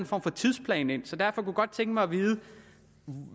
form for tidsplan ind så derfor kunne jeg godt tænke mig at vide